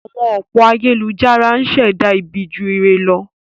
Àwọn òpó ayélujára ń ṣẹ̀dá ọ̀pọ̀ ibi ju ire lọ.